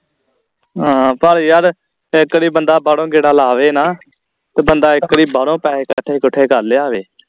ਆਹ ਪਰ ਯਾਰ ਇਕ ਤੇ ਬੰਦਾ ਬਾਹਰੋਂ ਗੇੜਾ ਲਾ ਆਵੇ ਨਾ ਤੇ ਬੰਦਾ ਇਕ ਵਾਰੀ ਬਾਹਰੋਂ ਪੈਹੇ ਇਕੱਠੇ ਇਕੁਠੇ ਕਰ ਲਿਆਵੇ